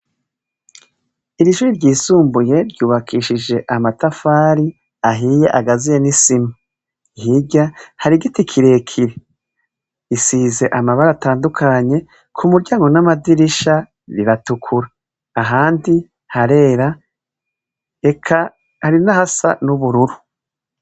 Iri shuri ryisumbuye ryubakishije amatafari ahiye agaziye n'isima, hirya hari igiti kirekire gisize amabara atandukanye kumuryango n'amadirisha biratukura abandi harera eka hari n'ahasa n'ubururu.